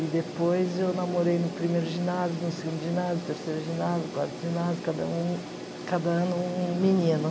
E depois eu namorei no primeiro ginásio, no segundo ginásio, no terceiro ginásio, no quarto ginásio, cada um cada ano um menino.